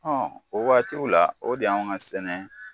Hɔn o waatiw la o de y'an ka sɛnɛ